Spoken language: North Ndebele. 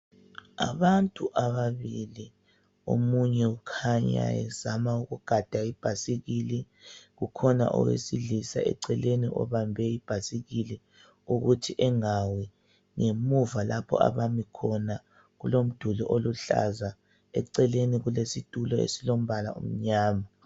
Abantu ababili. Omunye ukhanya ezama ukugada ibhasikili. Kukhona owesilisa eceleni, obambe ibhasikili, ukuthi engawi. Ngemuva lapha abemi khona, kulomduli oluhlaza. Eceleni, kulesitulo, esilombala omnyama.